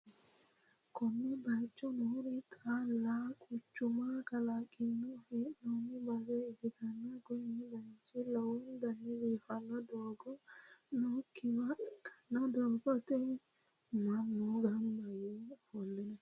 konne bayicho noori xaalla quchuma kalaqqanni hee'noonni base ikkitanna, kuni bayichino lowontanni biiffanno doogo nookkiwa ikkanna, doogote mannu gamba yee ofolle no.